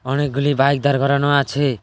অনেকগুলি বাইক দাঁড় করানো আছে।